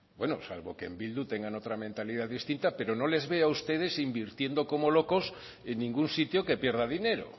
salvo que en bildu tengan otra mentalidad distinta pero no les veo a ustedes invirtiendo como locos en ningún sitio que pierda dinero